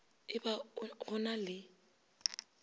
e ba go na le